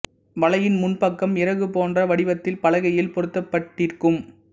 வலையின் முன் பக்கம் இறகு போன்ற வடிவத்தில் பலகையில் பொருத்தப்பட்டிருக்கும்